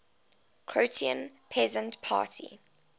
croatian peasant party